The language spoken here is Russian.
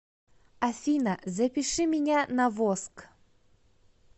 афина запиши меня на воск